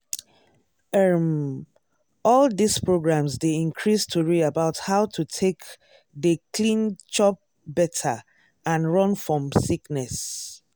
erm all dis programs dey increase tori about how to take dey clean chop better and run fom sickness.